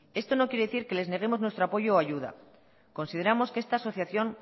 esto no quiere decir que les neguemos nuestro apoyo o ayuda consideramos que esta asociación